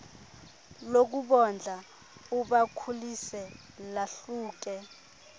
lokubondla ubakhulise lahluke